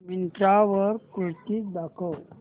मिंत्रा वर कुर्तीझ दाखव